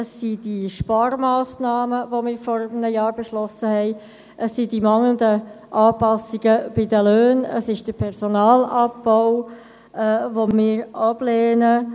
Es sind die Sparmassnahmen, die wir vor einem Jahr beschlossen haben, es sind die mangelnden Anpassungen bei den Löhnen, es ist der Personalabbau, was wir ablehnen.